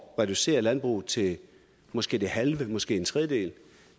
reducere landbruget til måske det halve måske en tredjedel